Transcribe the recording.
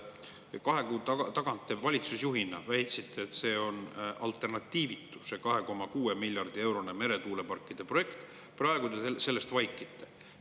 Kaks kuud tagasi te valitsusjuhina väitsite, et see 2,6 miljardi eurone meretuuleparkide projekt on alternatiivitu, aga praegu te sellest vaikite.